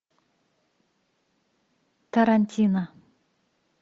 тарантино